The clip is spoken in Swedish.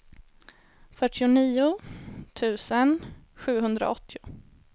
fyrtionio tusen sjuhundraåttio